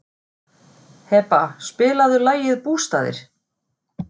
Heba, spilaðu lagið „Bústaðir“.